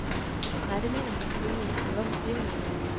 Nej, det mener hun selvfølgelig ikke, men hvorfor siger hun det så?